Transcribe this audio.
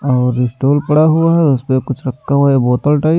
और स्टॉल पड़ा हुआ है उसपे कुछ रखा हुआ है बोतल टाइप --